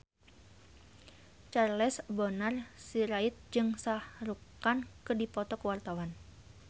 Charles Bonar Sirait jeung Shah Rukh Khan keur dipoto ku wartawan